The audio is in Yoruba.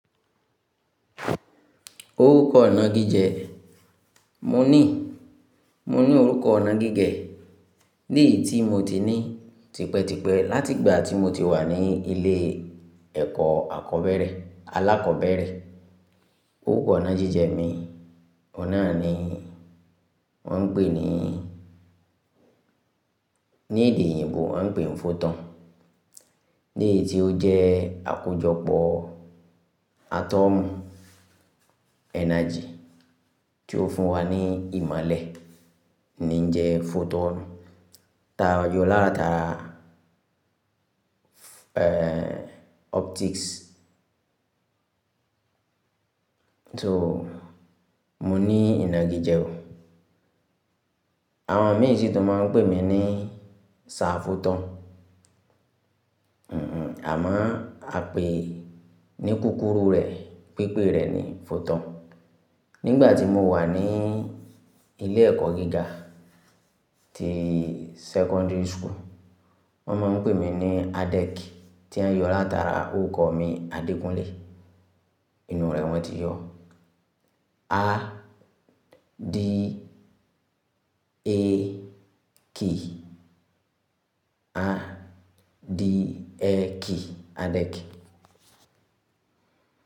Orúkọ inà gíjẹ. Mo ní, mo ní orúkọ nà gíjẹ. Leyii ti mo ti ní tipẹ́tipẹ́ láti ìgbà tí mo ti wà ní ilé ẹ̀kọ́ akobere, alákòbẹ̀rẹ̀. Orúkọ inà gijẹ mi, ọ̀un na ni wọ́n ń pè ní, ní èdè yìnbo a ń pè ní photon. Léètí ó jẹ́ àkójọpọ̀ atom energy tí ó fún wa ní ìmolẹ̀ ni ń jẹ́ photon. Tá a yọ látara, eeh, optics. So, mo ní ìnàgíjẹ o. Àwọn mí siì tun máa n pè mí ní Sir Photon. Hmhmm, àmọ́ a pè ní kúkúrú rẹ̀, pípé rẹ̀ ní Photon. Nígbà tí mo wà ní ilé ẹ̀kọ́ gíga, ti secondary school, wọ́n máa ń pè mí ní Adek tí o yọ látara orúkọ mi Adékúnlé. Ìnú rẹ̀ wọ́n ti yọ. A-D-E-K, A-D-E-K, Adeki.